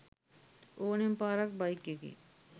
ඕනෙම පාරක බයික් එකේ